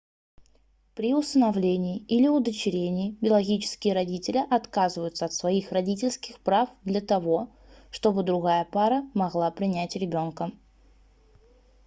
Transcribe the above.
при усыновлении или удочерении биологические родители отказываются от своих родительских прав для того чтобы другая пара могла принять ребёнка